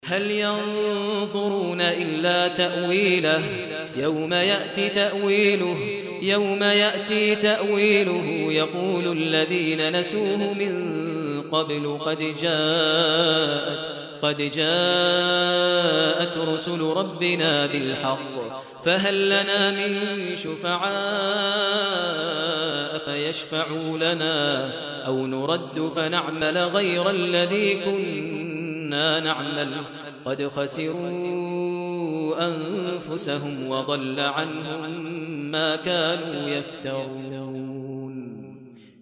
هَلْ يَنظُرُونَ إِلَّا تَأْوِيلَهُ ۚ يَوْمَ يَأْتِي تَأْوِيلُهُ يَقُولُ الَّذِينَ نَسُوهُ مِن قَبْلُ قَدْ جَاءَتْ رُسُلُ رَبِّنَا بِالْحَقِّ فَهَل لَّنَا مِن شُفَعَاءَ فَيَشْفَعُوا لَنَا أَوْ نُرَدُّ فَنَعْمَلَ غَيْرَ الَّذِي كُنَّا نَعْمَلُ ۚ قَدْ خَسِرُوا أَنفُسَهُمْ وَضَلَّ عَنْهُم مَّا كَانُوا يَفْتَرُونَ